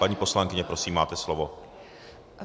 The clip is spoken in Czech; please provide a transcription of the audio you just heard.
Paní poslankyně, prosím, máte slovo.